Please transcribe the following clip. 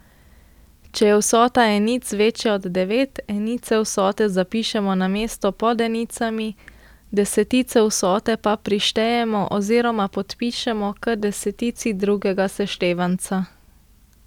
Če je vsota enic večja od devet, enice vsote zapišemo na mesto pod enicami, desetice vsote pa prištejemo oziroma podpišemo k desetici drugega seštevanca.